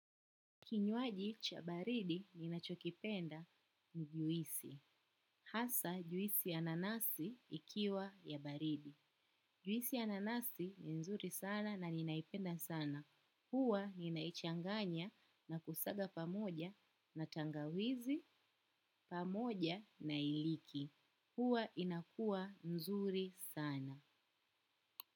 Kinywaji cha baridi ninachokipenda ni juisi. Hasa juisi ya nanasi ikiwa ya baridi. Juisi ya nanasi ni nzuri sana na ninaipenda sana. Huwa ninaichanganya na kusaga pamoja na tangawizi pamoja na iliki. Huwa inakuwa nzuri sana.